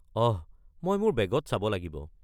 অহ, মই মোৰ বেগত চাব লাগিব।